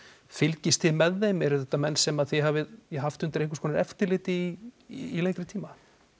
fylgist þið með þeim eru þetta menn sem þið hafið haft undir einhvers konar eftirliti í lengri tíma